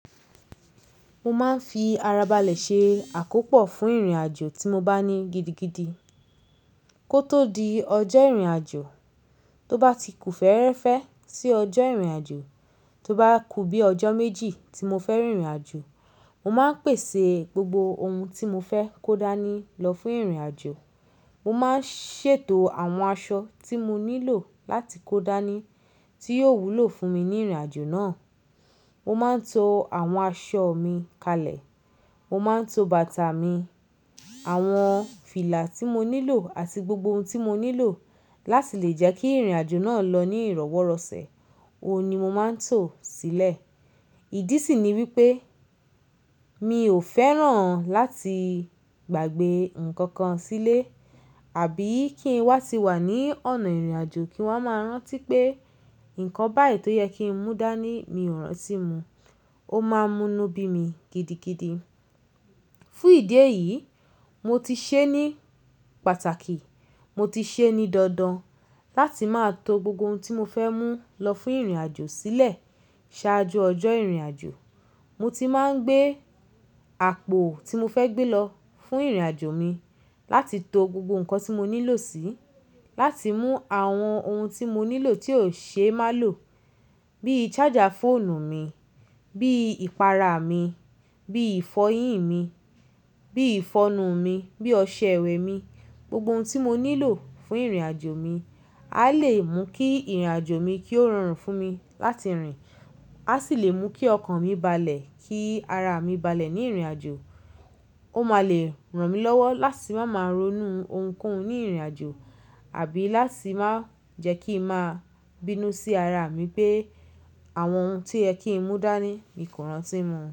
Mo máa ń fi ara balẹ̀ ṣe àkópọ̀ fún ìrìnàjò tí mo bá ní gidigidi. Kó tó di ọjọ́ ìrìnàjò, tó bá ti kù fẹ́ẹ́rẹ́fẹ́ sí ọjọ́ ìrìnàjò, tó bá kù bí ọjọ́ méjì tí mo fẹ́ rìn ìrìnàjò, mo máa ń pèsè gbogbo ohun tí mo fẹ́ kó dání lọ fún ìrìnàjò. Mo máa ń ṣètò àwọn aṣọ tí mo nílò láti kó dání tí yóò wúlò fún mi ní ìrìnàjò náà. Mo máa ń to àwọn aṣọ mi kalẹ̀. Mo máa ń to bàtà mi, àwọn fìlà tí mo nílò àti gbogbo ohun tí mo nílò láti lè jẹ́ kí ìrìnàjò náà lọ ní ìrọ́wọ́rọ̀sẹ̀, òun ni mo máa ń tòọ sílẹ̀. Ìdí sì ni wípé mi ò fẹ́ràn láti gbàgbé nǹkan kan sílé, àbí kí ń wá ti wà ní ọ̀nà ìrìnàjò kí wọ́n máa rántí pé nǹkan báyìí tó yẹ kí n mú dání mi ò rántí mú un, ó máa mú inú bí mi gidigidi. Fún ìdí èyí, mo ti ṣe é ní pàtàkì, mo ti ṣe é ní dandan láti máa to gbogbo ohun tí mo fẹ́ mú lọ fún ìrìnàjò sílẹ̀ ṣáájú ọjọ́ ìrìnàjò. Mo ti máa ń gbé àpò tí mo fẹ́ gbé lọ fún ìrìnàjò mi láti to gbogbo nǹkan tí mo nílò sí, láti mú àwọn ohun tí mo nílò tí ò ṣe má lò bí charger fóònù mi, bí ìpara mi, bí ìfọyín mi, bí ìfọnu mi, bí ọṣẹ ìwẹ̀ mi. Gbogbo ohun tí mo nílò fún ìrìnàjò mi a lè mú kí ìrìnàjò mi kí ó rọrùn fún mi láti rìn, a sì lè mú kí ọkàn mi balẹ̀, kí ara mi balẹ̀ ní ìrìnàjò. Ó máa lè ràn mí lọ́wọ́ láti má máa ronú ohunkóhun ní ìrìnàjò àbí láti má jẹ́ kí ń má bínú sí ara mi pé àwọn ohun tí ẹ kí ń mú dání mi kò rántí mú un.